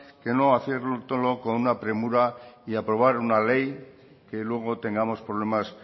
que no hacerlo con una premura y aprobar una ley que luego tengamos problemas